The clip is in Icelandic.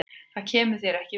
Það kemur þér ekki við.